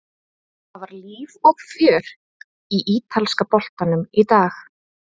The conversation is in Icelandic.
Það var líf og fjör í ítalska boltanum í dag.